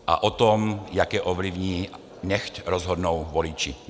A o tom, jak je ovlivní, nechť rozhodnou voliči.